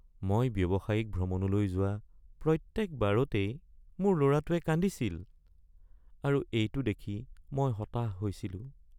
মই ব্যৱসায়িক ভ্ৰমণলৈ যোৱা প্ৰত্যকবাৰতেই মোৰ ল’ৰাটোৱে কান্দিছিল আৰু এইটো দেখি মই হতাশ হৈছিলোঁ।